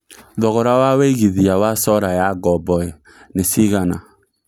thogora wa wĩigĩthĩa wa solar ya ngombo nĩ cĩgana